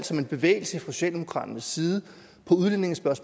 som en bevægelse fra socialdemokraternes side